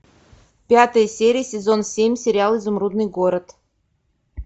пятая серия сезон семь сериал изумрудный город